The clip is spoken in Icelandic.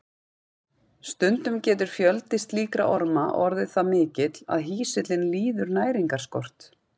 Stundum getur fjöldi slíkra orma orðið það mikill að hýsillinn líður næringarskort.